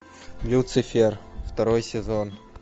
люцифер второй сезон